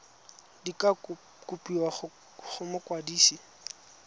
di ka kopiwa go mokwadise